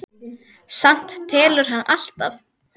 Samt telur hann alltaf.